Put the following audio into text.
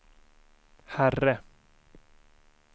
herre